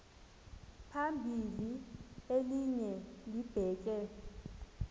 phambili elinye libheke